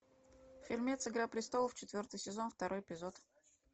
фильмец игра престолов четвертый сезон второй эпизод